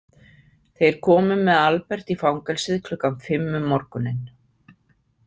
Þeir komu með Albert í fangelsið klukkan fimm um morguninn.